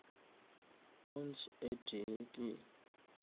ounce e tee ke